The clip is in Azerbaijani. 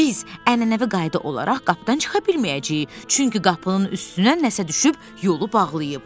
Biz ənənəvi qayda olaraq qapıdan çıxa bilməyəcəyik, çünki qapının üstünə nəsə düşüb yolu bağlayıb.